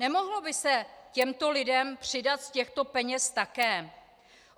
Nemohlo by se těmto lidem přidat z těchto peněz také?